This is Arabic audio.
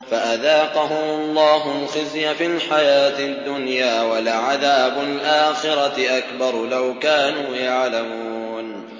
فَأَذَاقَهُمُ اللَّهُ الْخِزْيَ فِي الْحَيَاةِ الدُّنْيَا ۖ وَلَعَذَابُ الْآخِرَةِ أَكْبَرُ ۚ لَوْ كَانُوا يَعْلَمُونَ